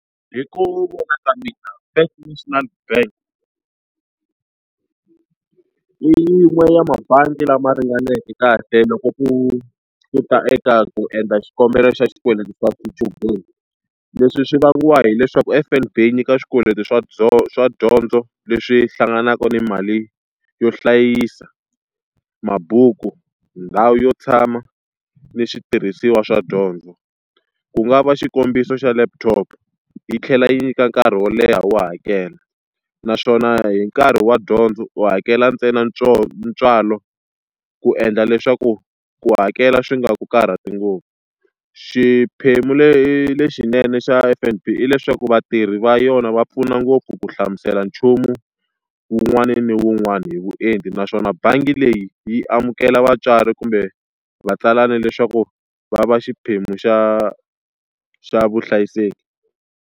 Hi ku vona ka mina First National Bank i yin'we ya tibangi lama ringaneke kahle loko ku u ta eka ku endla xikombelo xa xikweleti xa xichudeni. Leswi swi vangiwa hileswaku F_N_B yi nyika swikweleti swa swa dyondzo leswi hlanganaka ni mali yo hlayisa, tibuku, ndhawu yo tshama ni switirhisiwa swa dyondzo. Ku nga va xikombiso xa laptop yi tlhela yi nyika nkarhi wo leha wo hakela, naswona hi nkarhi wa dyondzo u hakela ntsena ntswalo ku endla leswaku ku hakela swi nga ku karhati ngopfu. Xiphemu lexinene xa F_N_B i leswaku vatirhi va yona va pfuna ngopfu ku hlamusela nchumu wun'wana ni wun'wana hi vuenti naswona bangi leyi yi amukela vatswari kumbe vatsalana leswaku va va xiphemu xa xa vuhlayiseki.